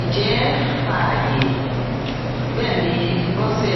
ìjẹh fàáyé bẹẹlí bọsẹ